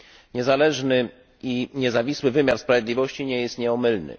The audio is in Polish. Niezależny i niezawisły wymiar sprawiedliwości nie jest nieomylny.